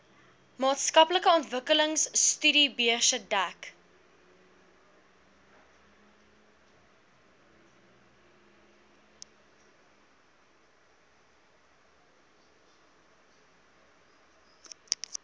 maatskaplike ontwikkelingstudiebeurse dek